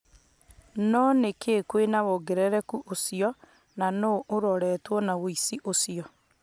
No nĩ kiĩ kwĩna wongerereku ũcio na nũ uroretwo nĩ ũici ũcio?